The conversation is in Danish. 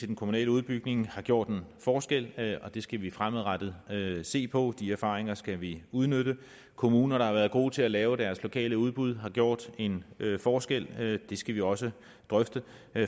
den kommunale udbygning har gjort en forskel og det skal vi fremadrettet se på de erfaringer skal vi udnytte kommuner der har været gode til at lave deres lokale udbud har gjort en forskel og det skal vi også drøfte